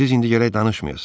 Siz indi gərək danışmayasız.